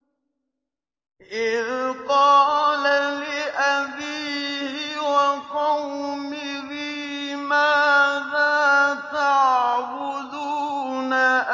إِذْ قَالَ لِأَبِيهِ وَقَوْمِهِ مَاذَا تَعْبُدُونَ